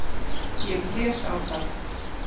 Ég blés á það.